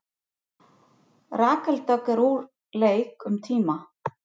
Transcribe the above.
Rakel Dögg úr leik um tíma